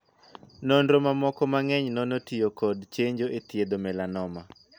Nonro mamoko mang'eny nono tiyo kod chenjo e thiedho 'melanoma'.